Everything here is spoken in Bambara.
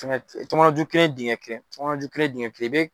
tɔmɔnɔju kelen dingɛ kelen tɔmɔnɔju kelen dingɛ kelen